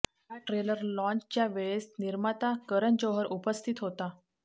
या ट्रेलर लाँन्चच्या वेळेस निर्माता करण जोहर उपस्थित होता